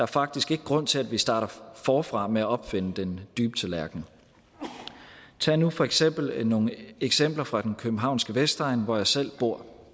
faktisk ikke grund til at vi starter forfra med at opfinde den dybe tallerken tag nu for eksempel nogle eksempler fra den københavnske vestegn hvor jeg selv bor